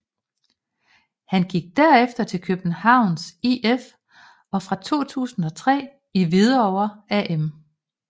Han gik derefter til Københavns IF og fra 2003 i Hvidovre AM